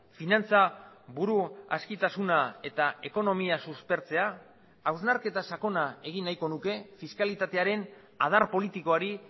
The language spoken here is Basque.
finantzaburu askitasuna eta ekonomia suspertzea hausnarketa sakona egin nahiko nuke fiskalitatearen adar politikoari